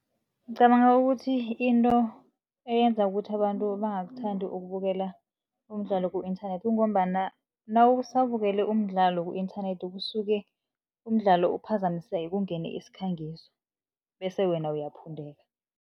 Ngicabanga ukuthi into eyenza ukuthi abantu bangakuthandi ukubukela umdlalo ku-inthanethi, kungombana nawusabukele umdlalo ku-inthanethi, kusuke umdlalo uphazamiseke kungene isikhangiso bese wena uyaphundeka.